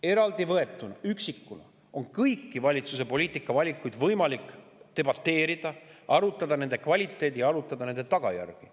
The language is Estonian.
Eraldi võetuna, üksikuna on kõigi valitsuse poliitikavalikute üle võimalik debateerida, arutada nende kvaliteeti ja tagajärgi.